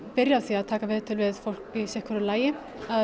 byrja á því að taka viðtöl við fólk í sitthvoru lagi